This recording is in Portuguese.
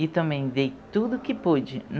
E também dei tudo que pude.